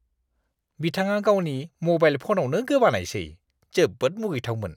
बिथाङा गावनि म'बाइल फनावनो गोबानायसै। जोबोद मुगैथावमोन!